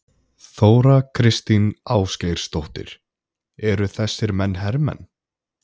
Þóra Kristín Ásgeirsdóttir: Eru þessir menn hermenn?